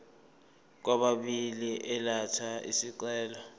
kwababili elatha isicelo